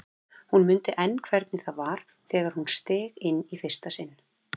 Hún mundi enn hvernig það var þegar hún steig þar inn í fyrsta sinn.